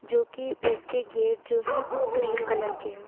जो कि इसके गेट जो है वो क्रीम कलर के है।